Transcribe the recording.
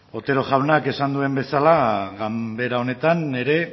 otero jaunak esan duen bezala ganbera honetan ere